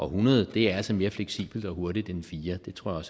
hundrede er altså mere fleksibelt og hurtigt end fire det tror